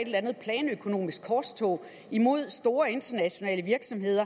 et eller andet planøkonomisk korstog imod store internationale virksomheder